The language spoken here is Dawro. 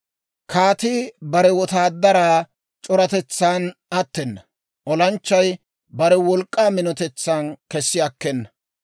Kaatii bare wotaadaraa c'oratetsan attena; olanchchay bare wolk'k'aa minotetsan kessi akkena.